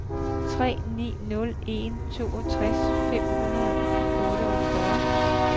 tre ni nul en toogtres fem hundrede og otteogfyrre